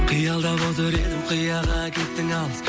қиялдап отыр едім қияға кеттің алыс